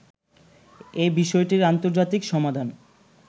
এ বিষয়টির আন্তর্জাতিক সমাধান